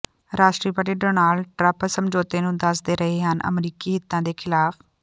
ਰਾਸ਼ਟਰਪਤੀ Donald Trump ਸਮਝੌਤੇ ਨੂੰ ਦੱਸਦੇ ਰਹੇ ਹਨ ਅਮਰੀਕੀ ਹਿੱਤਾਂ ਦੇ ਖ਼ਿਲਾਫ਼